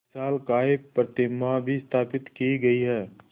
विशालकाय प्रतिमा भी स्थापित की गई है